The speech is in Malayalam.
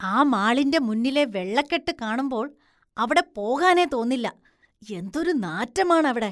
ആ മാളിന്റെ മുന്നിലെ വെള്ളക്കെട്ട് കാണുമ്പോള്‍ അവിടെ പോകാനേ തോന്നില്ല, എന്തൊരു നാറ്റമാണ് അവിടെ.